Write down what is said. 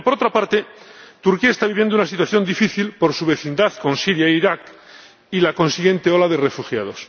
Pero, por otra parte, Turquía está viviendo una situación difícil por su vecindad con Siria e Irak y la consiguiente ola de refugiados.